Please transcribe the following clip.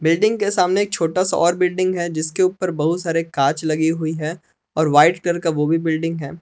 Building के सामने छोटा सा और बिल्डिंग है जिसके ऊपर बहुत सारे कांच लगी हुई है और व्हाइट कलर का वो भी बिल्डिंग है।